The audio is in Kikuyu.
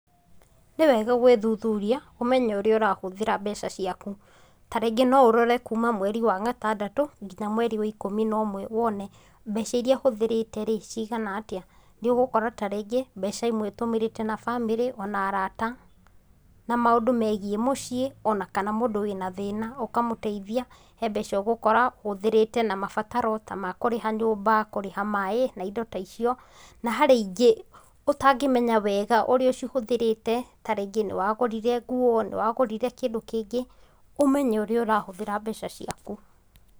Nĩwega gwĩthuthuria, ũmenye ũrĩa ũrahũthĩra mbeca ciaku, tarĩngĩ no ũrore kuuma mweri wa gatandatũ nginya mweri wa ikũmi na ũmwe wone mbeca iria hũthĩrĩte rĩ, cigana atia, nĩ ũgũkora tarĩngĩ mbeca imwe ũtũmĩrĩte na bamiri ona arata, na maũndũ megiĩ mũciĩ ona kana mũndũ wĩna thĩna ũkamũteithia. He mbeca ũgũkora ũhũthĩrĩte na mabataro ta ma kũrĩha nyũmba, kũrĩha maĩ na indo ta icio, na harĩ ĩngĩ ũtangĩmenya wega ũrĩa ũcihũthĩrĩte ta rĩngĩ nĩ wagũrire nguo, nĩ wagũrire kĩndũ kĩngĩ. Ũmenye ũrĩa ũrahũthĩra mbeca ciaku.